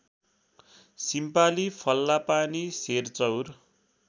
सिम्पाली फल्लापानी सेरचौर